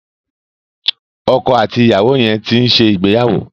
Ọkọ àti ìyàwó yẹn ti ń ṣe ìgbéyàwó.